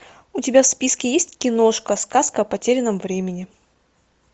у тебя в списке есть киношка сказка о потерянном времени